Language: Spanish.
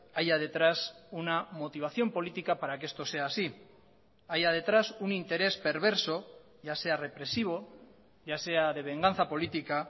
haya detrás una motivación política para que esto sea así haya detrás un interés perverso ya sea represivo ya sea de venganza política